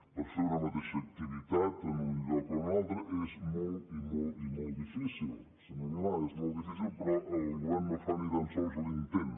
per fer una mateixa activitat en un lloc o un altre és molt i molt i molt difícil senyor milà és molt difícil però el govern no fa ni tan sols l’intent